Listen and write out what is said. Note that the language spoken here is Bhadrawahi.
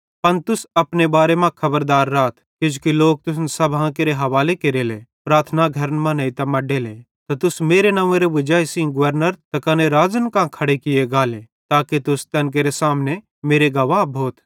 पन तुस अपने बारे मां खबरदार राथ किजोकि लोक तुसन अदालतां केरे हवाले केरले प्रार्थना घरन मां नेइतां मड्डले त तुस मेरे वजाई सेइं गवर्नरन ते कने राज़न कां खड़े किये गाले ताके तुस तैन केरे सामने मेरे गवाह भोथ